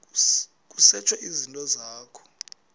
kusetshwe izinto zakho